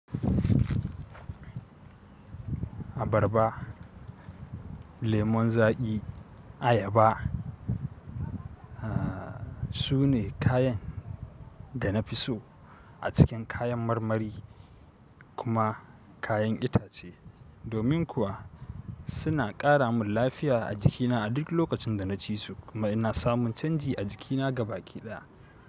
Abarba, lemun zaƙi, ayaba aah su ne kayan da na fi so a cikin kayan marmari kuma kayan itace. Domin kuwa suna ƙara min lafiya a jikina a duk lokacin da na ci su kuma ina samun canji a jikina gabaki ɗaya.